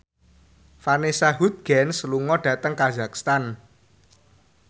Vanessa Hudgens lunga dhateng kazakhstan